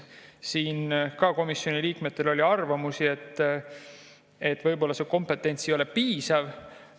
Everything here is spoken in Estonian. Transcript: Siin oli komisjoni liikmetel arvamusi, et võib-olla see kompetents ei ole piisav.